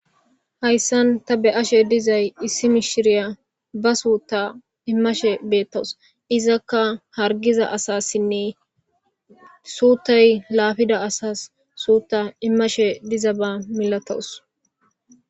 Haysan ta be'ashe dizay issi mishiriya ba suuta imashe betawus. Izaka hargida asasinne suutay lafida asas suuta imashe dizaba malatawus